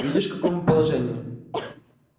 видишь в каком мы положении